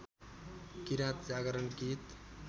किराँत जागरण गीत